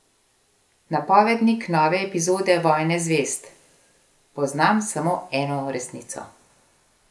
Napovednik nove epizode Vojne zvezd: "Poznam samo eno resnico.